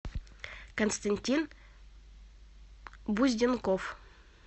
константин бузденков